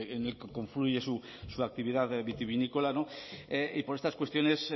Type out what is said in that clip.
en el que confluye su actividad vitivinícola y por estas cuestiones